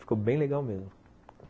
Ficou bem legal mesmo.